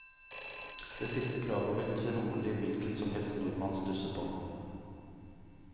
Det siste kravet vil trolig hvilken som helst nordmann stusse på.